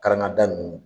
Karangada nunnu